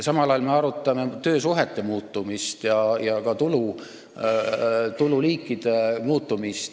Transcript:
Samal ajal me arutame töösuhete muutumist ja ka tululiikide muutumist.